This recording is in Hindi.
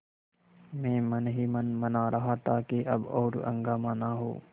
मैं मन ही मन मना रहा था कि अब और हंगामा न हो